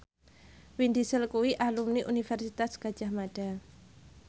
Vin Diesel kuwi alumni Universitas Gadjah Mada